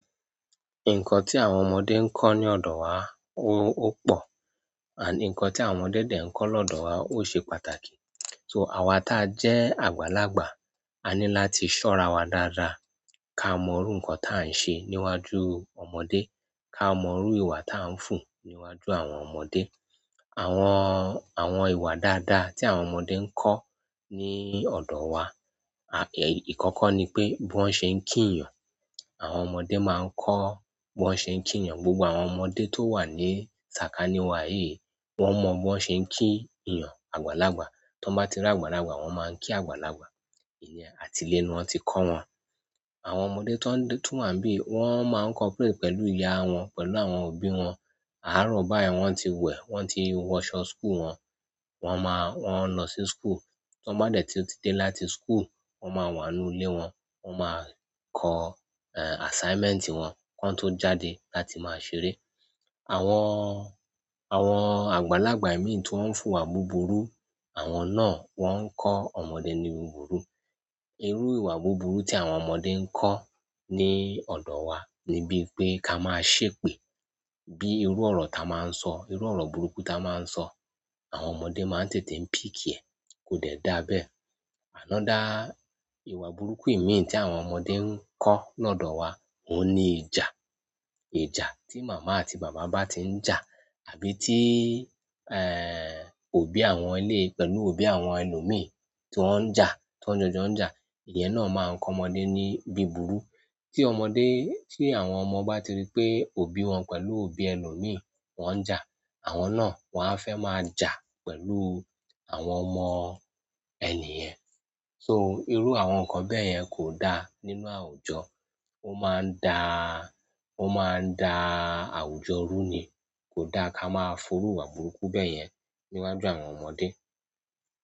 Nǹkan tí àwọn ọmọdé ń kọ́ ní ọ̀dọ̀ wa ó pò, and nkan tí àwọn ọmọdé dàì ń kọ́ lọ́dọ̀ wa ó ṣe pàtàkì. So àwa ta jẹ́ àgbàlagbà, a ní láti ṣọ́ra wa dáadáa, ká mọrú nǹkan ta ń ṣe níwájú ọmọdé, ká mọrú ìwà ta ń fùn níwájú àwọn ọmọdé. Àwọn, àwọn ìwà dáadáa tí àwọn ọmọdé ń kọ́ ní ọ̀dọ̀ wa, à, èy, ìkọ́kọ́ ni pé bó ṣe ń kí ènìyàn, àwọn ọmọdé máa ń kọ́ bí wọn ṣe ń kí ènìyàn, gbogbo àwọn ọmọdé tó wà ní sàkání wa yìí wón mọ bí wón ṣe ń kí ènìyàn àgbàlagbà. Tí wọ́n bá ti ràgbàlagbà, wón máa ń kí àgbàlagbà. Ìyẹn àtilé ni wón ti kọ wọ́n. Àwọn ọmọdé tí wọ́n tún wà níbí wọn má ń cooperate pẹ̀lú ìyá wọn pẹ̀lú àwọn òbí wọn. Àárọ̀ báyìí wón ti wẹ̀, wón ti wọsọ school wọn wón máa wọ́n lọ sí school. Tí wọ́n bá dé tí ó ti dé láti school, wón máa wà nú ilé wọ́n, wón máa kọ, eh, assignment wón tán tó jáde láti máa ṣeré. Àwọn, àwọn àgbàlagbà ìmí tí wón ń fùwà búburú, àwọn náà wọ́n ń kọ́ ọmọdé ní búburú. Irú ìwà búburú tí àwọn ọmọdé ń kọ́ ní ọ̀dọ̀ wa ni bí pé ká máa ṣépè. Bí irú ọ̀rọ̀ ta máa ń sọ, irú ọ̀rọ̀ burúkú ta máa ń sọ, àwọn ọmọdé máa ń tètè ń pick ẹ̀. Kò dẹ̀ dáa bẹ́ẹ̀. Another ìwà burúkú ìmí tí àwọn ọmọdé ń kọ́ lọ́dọ̀ wa, òhun ni ìjà. Ìjà tí màmá àti bàbá bá ti ń jà àbí tí, eh, òbí àwọn eléyìí pẹ̀lú òbí àwọn ẹlòmìí tí wọ́n ń jà, tí wọ́n jọjọ ń jà, ìyẹn náà máa ń kọ ọmọdé ní bí bíburú. Tí ọmọdé, tí àwọn ọmọ bá ti rí pé òbí wón pẹ̀lú òbí ẹlòmìí wọ́n ń jà, àwọn náà wọ́n á fẹ́ máa jà pẹ̀lú àwọn ọmọ ẹnìyẹn. So irú àwọn nǹkan bẹ́ẹ̀ yẹn kò da nínú àwùjọ. Ó máa ń da, ó máa ń da àwùjọ rú ni. Kò da ká máa forú ìwà burúkú bẹ́ẹ̀ yẹn níwájú àwọn ọmọdé.